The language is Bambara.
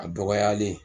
A dɔgɔyalen